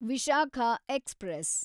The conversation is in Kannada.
ವಿಶಾಖ ಎಕ್ಸ್‌ಪ್ರೆಸ್